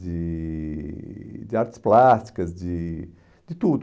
de de artes plásticas, de de tudo.